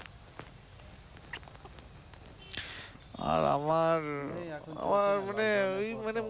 আর আমার, আমার মনে, ঐ মানে,